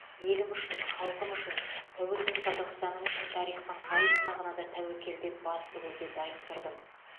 елім үшін халқым үшін тәуелсіз қазақстаным үшін тарихтың қай сынағына да тәуекел деп бас тігуге дайын тұрдым